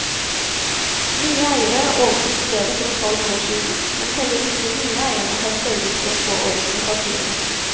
Nye eiere overtok stedet for et halvt år siden, men heller ikke de nye eierne har sørget for å få orden i papirene.